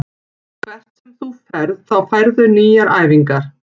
Hvert sem þú ferð þá færðu nýjar æfingar.